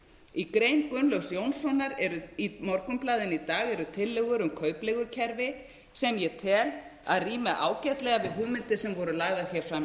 í grein gunnlaugs jónassonar í morgunblaðinu í dag eru tillögur um kaupleigukerfi sem ég tel að rími ágætlega við hugmyndir sem voru lagðar hér fram